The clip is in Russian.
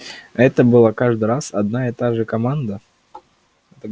это была каждый раз одна и та же команда